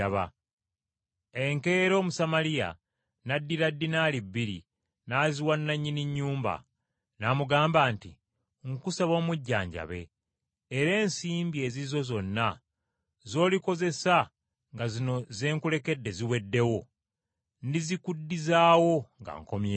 Enkeera Omusamaliya n’addira ddinaali bbiri n’aziwa nannyini nnyumba. N’amugamba nti, ‘Nkusaba omujjanjabe, era ensimbi ezizo zonna z’olikozesa nga zino ze nkulekedde ziweddewo, ndizikuddizaawo nga nkomyewo.’ ”